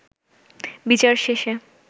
বিচার শেষে